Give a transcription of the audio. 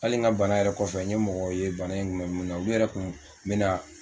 Hali n ka bana yɛrɛ kɔfɛ n ye mɔgɔw ye bana in tun bɛ min na olu yɛrɛ tun bɛ na